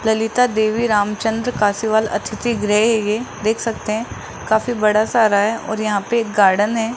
ललिता देवी रामचंद्र काशीवाल अतिथि गृह है ये देख सकते हैं काफी बड़ा सारा है और यहां पे एक गार्डन है।